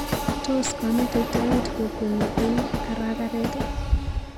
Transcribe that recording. Tos kamete tait kokwenyi eng karakaret?